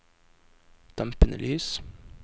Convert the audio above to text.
dempede lys